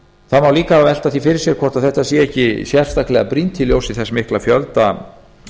það má líka velta því fyrir sér hvort þetta sé ekki sérstaklega brýnt í ljósi þess mikla fjölda